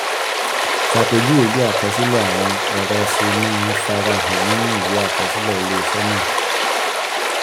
ṣàpèjúwe bí àkọsílẹ̀ àwọn ẹ̀rọ ṣe máa ń fara hàn nínú ìwé àkọsílẹ̀ ilé-iṣẹ́ náà.